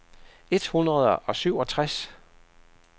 et hundrede og syvogtres